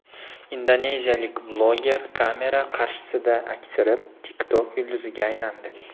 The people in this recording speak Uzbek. Indoneziyalik bloger kamera qarshisida aksirib, TikTok yulduziga aylandi .